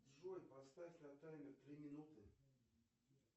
джой поставь на таймер три минуты